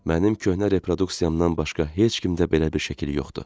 Mənim köhnə reproduksiyamdan başqa heç kimdə belə bir şəkil yoxdur.